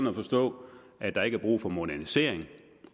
at forstå at der ikke er brug for modernisering